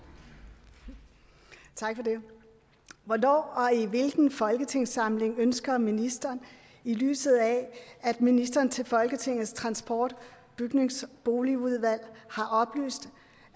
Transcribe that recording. det hvornår og i hvilken folketingssamling ønsker ministeren i lyset af at ministeren til folketingets transport bygnings og boligudvalg har oplyst